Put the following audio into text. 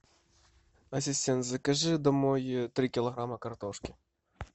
ассистент закажи домой три килограмма картошки